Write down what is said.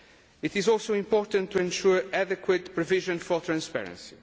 It is also important to ensure there is adequate provision for transparency.